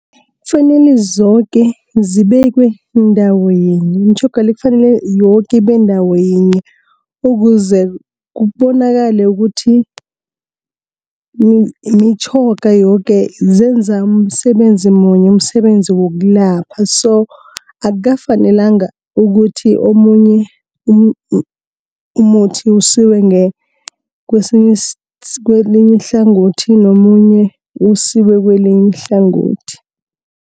Kufanele zoke zibekwe ndawo yinye, imitjhoga le, kufanele yoke ibe ndawo yinye. Ukuze kubonakale ukuthi imitjhoga yoke, zenza umsebenzi munye, umsebenzi wokulapha. So akufanelanga ukuthi omunye umuthi usiwe kwelinye ihlangothi nomunye usiwe kwelinye ihlangothi.